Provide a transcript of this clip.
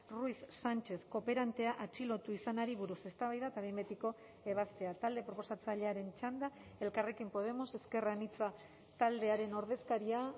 ruiz sánchez kooperantea atxilotu izanari buruz eztabaida eta behin betiko ebazpena talde proposatzailearen txanda elkarrekin podemos ezker anitza taldearen ordezkaria